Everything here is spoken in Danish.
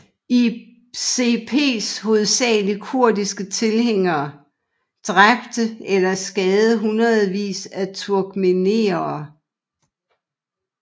ICPs hovedsageligt kurdiske tilhængere dræbpte eller skadede hundredvis af turkmenere